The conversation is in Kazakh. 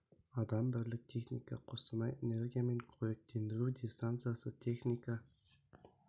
адам бірлік техника қостанай энергиямен көректендіру дистанциясы техника